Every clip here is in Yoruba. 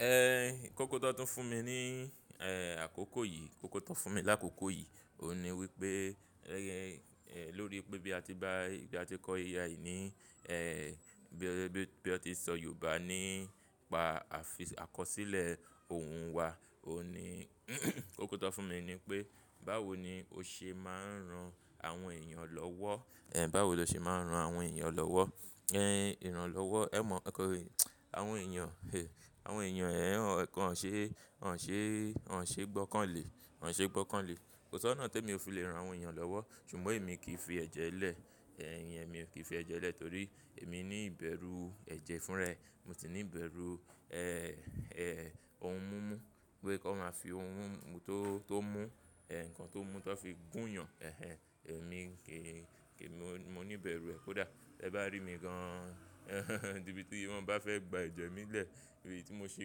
Ẹ kóko tan tún fún mi ní, ẹ akóko yìí, kóko tó fún mi lákòókò yìí, òun ni wípé lórí pé bí a ti bá, bí a ti kọ́ AI yìí ní, ẹ bí a ti ń sọ Yorùbá nípa àfikọ́, àkọsílẹ̀ òun wa, òní kóko tó fún mi ni pé báwo ni o ṣe máa ń ran àwọn èèyàn lọ́wọ́, ẹ báwo lo ṣe máa ń ran àwọn èèyàn lọ́wọ́, ẹ ìran lọ́wọ́? Ẹ mọ̀ nkankan è, àwọn èèyàn, àwọn èèyàn ẹ́ won ò ṣe, won ò ṣe, won ṣe gbọ́kàn lé, won ṣe gbọ́kàn lé. Kò sọ́ná tí èmi ò fi le ran àwọn èèyàn lọ́wọ́, ṣùgbọ́n èmi kì í fi ẹ̀jẹ̀ lẹ̀, è iyen èmi ò kí fi ẹ̀jẹ̀ lẹ̀ torí èmi ní ìbẹ̀rú ẹ̀jẹ̀ fún ra e. Mo sì ní ìbẹ̀rú, ẹ òún mú mú, pé kí wọ́n máa fi ohun tó, tó mú, ẹ̀ nǹkan tó mú tan fi gún yàn. Ẹ̀hẹn, èmi kì í, mo ní ìbẹ̀rú ẹ kó dà. Ẹ bá rí mi gan-an níbi tí wọ́n bá fẹ́ gba ẹ̀jẹ̀ mi lẹ̀, ibi tí mo ṣe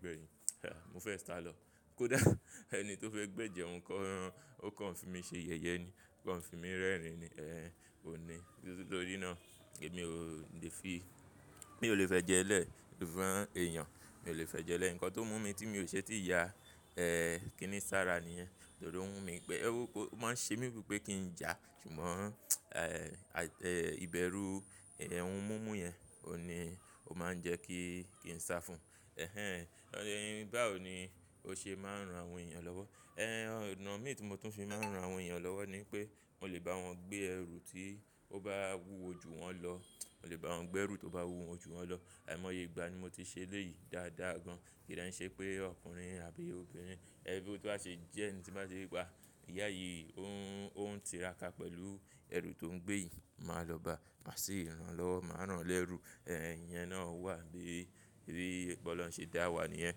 gbẹ̀yìn, à mo fee sa lọ. Kó dà ẹni tó fẹ́ gbẹ jẹun gan, ó kàn fi mi ṣe yẹ̀yẹ́ ni, ó kàn fi mi rẹ́rìn-ín ni, ẹ òní. Nítorí náà èmi o lè fi, mi ò lè fẹ jẹ lẹ́ fún èèyàn, mi ò lè fẹ jẹ lẹ́ ǹkan tó mú mi tí mi ò ṣe tíì ya, ẹ kínní sára níyẹn. Torí ó ń wú mi pẹ́, ó máa ń ṣe mí bíi pé kí n ya ṣùgbọ́n, ẹ ìbẹ̀rú ohun mú mú yẹn, òní ó máa ń jẹ kí, kí n sá fún. Ẹ̀hẹn, báwo ni o ṣe máa ń ran àwọn èèyàn lọ́wọ́? Ẹ ọ̀nà mi tí mo tún fi máa ń ran àwọn èèyàn lọ́wọ́ ni pé mò lè bá wọn gbé ẹrù tí ó bá wúwo ju wọ́n lọ. Mò lè bá wọn gbé ẹrù tó bá wúwo ju wọ́n lọ. Ahi mo ye igba ni mo ti ṣe léyìí dáadáa gan. Kí de n ṣe pé ọkùnrin àbí obìnrin, ẹbí tó bá ṣe jẹ́ ẹni tí bá ṣe pe a, ìyà yìí ó ń, ó ń tira ka pẹ̀lú ẹrù tó ń gbé yìí. Máa lọ ba, má sì ràn lọ́wọ́, màá ràn lẹ́rú. Ẹ̀ iyẹn náà wà bí i bí pọ̀lọ́run ń ṣe dá wa nìyẹn.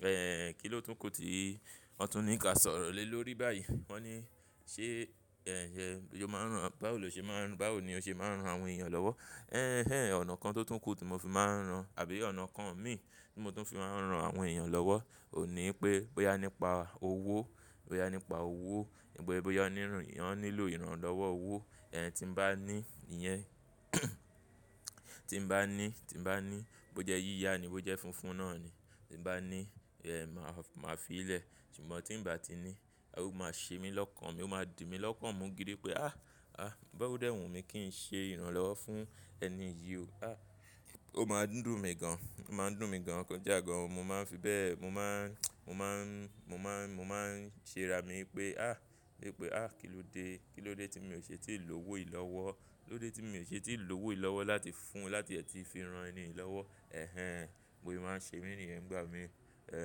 Ẹ kí ló tún kù tí wọn tún ní ká sọ̀rọ̀ lé lórí báyìí. Wọ́n ní ṣé ẹ jẹ, bó máa ń rán, báwo lo ṣe máa ń rán, báwo ni o ṣe máa ń ran àwọn èèyàn lọ́wọ́? Ẹ̀hẹn, ọ̀nà kan tó tún kù tí mo fi máa ń rán àbí ọ̀nà kan mi tí mo tún fi máa ń ran àwọn èèyàn lọ́wọ́ òní pé bóyá nípa owó, bóyá nípa owó, bóyá nípa èèyàn nílò ìran lọ́wọ́ owó, ẹ tí mo bá ní ìyẹn tí mo bá ní, tí mo bá ní bó jẹ yíya ni, bó jẹ funfun náà ni, tí mo bá ní ẹ màá fi í lẹ̀. Ṣùgbọ́n tí ń bà tí ní, ó máa ṣe mí lọ́kàn, mi ó máa dì mí lọ́kan mú gidi pé à, à ódé wù mí kí n ṣe ìran lọ́wọ́ fún ẹni yìí o. À ó máa ń dùn mí gan-an, ó máa ń dùn mí gan-an ko da gan-an. Mo máa ń fi bẹ́ẹ̀, mo máa ń, mo máa ń, mo máa ń ṣe ara mi pé à, wípé à kilóde, kilóde tí mi ò ṣe tíì lòwó yìí lọ́wọ́. Kí lóde tí mi ò ṣe tíì lòwó yìí lọ́wọ́ láti fún, láti ẹ ti fi ran ẹni yìí lọ́wọ́. Ẹ̀hẹn, bose máa ń ṣe mí ní yẹn ń gbá mi, ẹ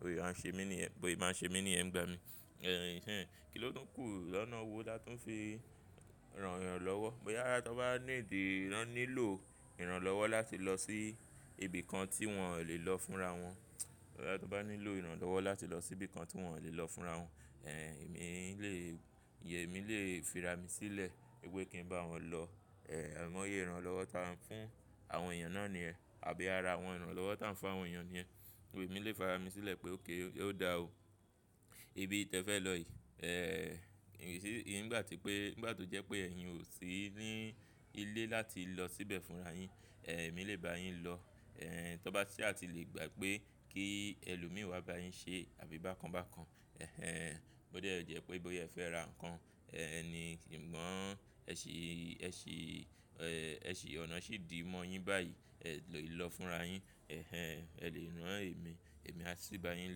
bose máa ń ṣe mí ní ẹ̀, bose máa ń ṣe mí ní yẹn ń gbá mi. Ẹ̀hẹn kí ló tún kù lọ́nà wo tá tún fi ran èèyàn lọ́wọ́? Bóyá ta bá need rẹ̀ nílò ìran lọ́wọ́ láti lọ sí ibi kan tí wọn ò lè lọ fúnra wọ́n. Bóyá to ba nílò ìran lọ́wọ́ láti lọ sí bí i kan tí wọn ò lè lọ fúnra wọ́n. Ẹ̀mi lè, ìyẹ́n emi lè fi ra mi sílẹ̀ wípé kí n bá wọn lọ. Ẹ̀ amọ̀ yé ìran lọ́wọ́ táa ń fún àwọn èèyàn náà ní ẹ àbí ara àwọn ìran lọ́wọ́ táa ń fún àwọn èèyàn ní ẹ. Emi lè fara mi sílẹ̀ pé okay ó da o. Ibi tí ẹ fẹ́ lọ yìí, ẹ ngbà tí pé, nígbà tó jẹ́ pé ẹ̀yin ò sì ní ilé láti lọ síbẹ̀ fúnra yín, èmi lè bá yín lọ. Ẹ tan bá sa tí lè gbà pé kí ẹlòmíràn wá bá yín ṣe àbí bákan bákan. Ẹ̀hẹn, bódé jẹ́ pé bóyá ẹ fẹ́ ra ǹkan, ẹni kìnǹ gan, ẹ sì, ẹ sì, ẹ sì ọ̀nà sì dí mọ́ yín báyìí, ẹ lè lọ fúnra yín. Ẹ̀hẹn, ẹ lè rán èmi, èmi á sì bá yín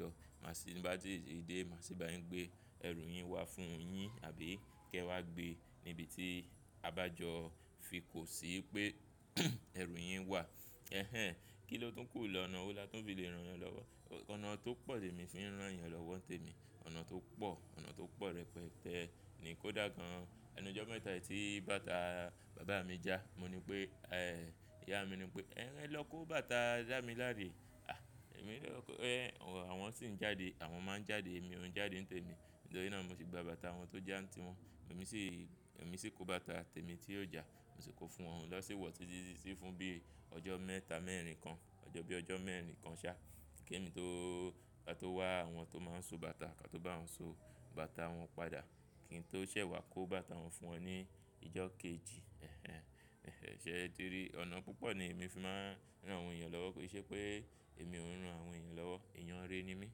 lọ. Màá sì bá tí ìdí, màá sì bá yín gbé ẹrù yín wá fún yín àbí kí ẹ wá gbé níbi tí a bá jọ fi kò sí pé ẹrù yín wà. Ẹ̀hẹn, kí ló tún kù ọ́nà wo dá tún fi lè rán èèyàn lọ́wọ́? Ọ̀nà tó pọ̀ lè mi fi ń rán èèyàn lọ́wọ́ ń tẹ mi. Ọ̀nà tó pọ̀, ọ̀nà tó pọ̀ rẹpẹtẹ́ ni kó dà gan-an. Ẹnu ọjọ́ mẹ́ta yìí tí bàtà bàbá mi já, mo ní pé, ẹ ìyá mi ní pé "Ẹ lọ kó bàtà dá mi láre." À èmi lọ kó, ẹ àwọn sì ń jáde, àwọn máa ń jáde, èmi ò ń jáde ń tẹ mí. Nítorí náà mo sì gba bàtà àwọn tó já ń ti wọn. Èmi sì, èmi sì kó bàtà tẹ́mi tí óò já. Mo sì kó fún wọn oun na si wọ̀ tí títí sí fún bí i ọjọ́ mẹ́ta mẹ́rin kan, ọjọ́ bí i ọjọ́ mẹ́rin kan ṣá. Kí èmi tó, ká tó wá àwọn tó máa ń so bàtà ká tó bá wọn so bàtà wọn padà. Kí n tó ṣẹ̀ wá kó bàtà wọn fún wọn ní ìjọ kejì. Ẹ̀hẹn, ṣé ẹ ti rí? Ọ̀nà púpọ̀ ni èmi fi máa ń rán àwọn èèyàn lọ́wọ́. Kì í ṣe pé èmi ò ń rán àwọn èèyàn lọ́wọ́. Eeyan re ni mí,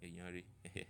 eeyan re. Ẹ̀hẹn.